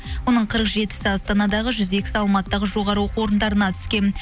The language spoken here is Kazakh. оның қырық жетісі астанадағы жүз екісі алматыдағы жоғарғы оқу орындарына түскен